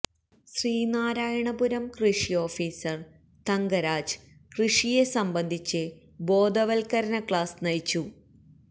ശ്രീനാ രായണപുരം കൃഷി ഓഫീസര് തങ്കരാജ് കൃഷിയെ സംബന്ധിച്ച് ബോധവത് കരണ ക്ലാസ് നയിച്ചു